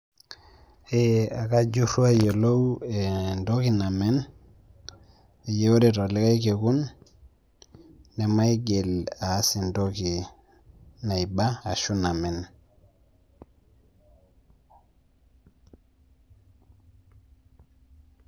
Ee akajurru ayiolou entoki namen pee ore telikai kekun nemaigil aas entoki naiba ashu namen.